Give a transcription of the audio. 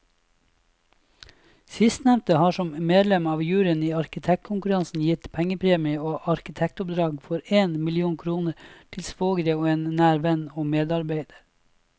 Sistnevnte har som medlem av juryen i arkitektkonkurranser gitt pengepremier og arkitektoppdrag for én million kroner til svogre og en nær venn og medarbeider.